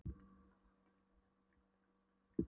Hann talaði ágæta íslensku og hélt uppi kurteisishjali.